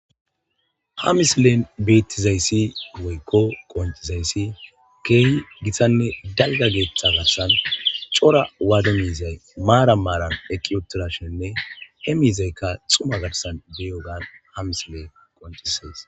hamisleen beettizayssi woykko qoncizayssi keehi githanne dalga geeththa garsan cora waada miizay maara maaran eqqiutirashenne he miizaykka xuma garsan biyogan hamislee qonci says